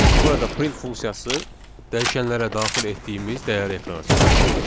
Çünki burada print funksiyası dəyişənlərə daxil etdiyimiz dəyəri ekrana çıxarır.